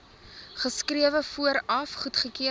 geskrewe vooraf goedkeuring